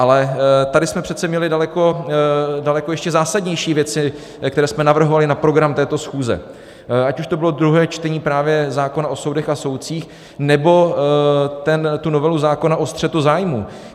Ale tady jsme přece měli daleko ještě zásadnější věci, které jsme navrhovali na program této schůze, ať už to bylo druhé čtení právě zákona o soudech a soudcích, nebo tu novelu zákona o střetu zájmů.